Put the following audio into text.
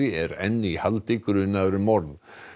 er enn í haldi grunaður um morð